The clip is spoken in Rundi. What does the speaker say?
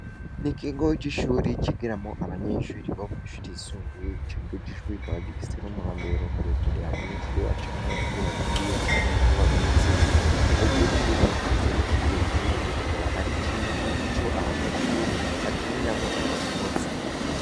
Ni ikigoe c'ishuri kigeramo abanyenshuri bo mashuti yisumbuye iciguga cishwuikaba gifise n'umurombero muremurera abanyenshuri bacamwo iyo bagiye canke iyo bagarutse jegiko cub ikaba gifise n'ikibuga kinini, ariko akaba ari civu ico abanyenshuri bakiniramwo iyo basohotse.